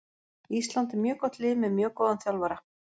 Ísland er mjög gott lið með mjög góðan þjálfara.